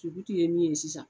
Tuguti ye min ye sisan.